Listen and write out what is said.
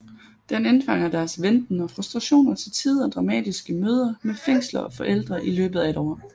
Den indfanger deres venten og frustrationer og til tider dramatiske møder med fængsler og forældre i løbet af et år